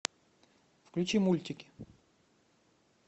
включи мультики